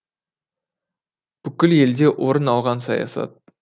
бүкіл елде орын алған саясат